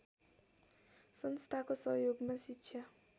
संस्थाको सहयोगमा शिक्षा